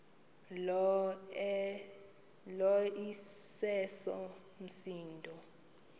lo iseso msindo